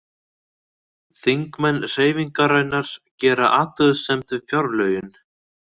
Þingmenn Hreyfingarinnar gera athugasemd við fjárlögin